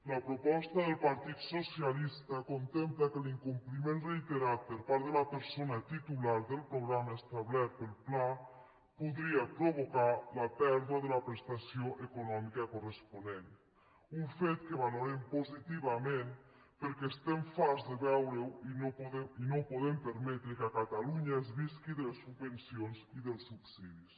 la proposta del partit socialista contempla que l’incompliment reiterat per part de la persona titular del programa establert pel pla podria provocar la pèrdua de la prestació econòmica corresponent un fet que valorem positivament perquè estem farts de veure ho i no podem permetre que a catalunya es visqui de les subvencions i dels subsidis